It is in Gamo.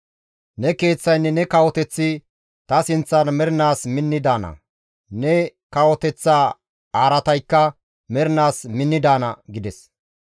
Ne keeththaynne ne kawoteththi ta sinththan mernaas minni daana; ne kawoteththa araataykka mernaas minni daana» gides.